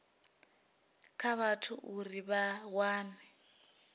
kha vhathu uri vha wane